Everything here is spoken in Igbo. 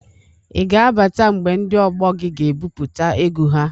I ga abata mgbe ndị ọgbọ gị ga-ebupụta egwu ha?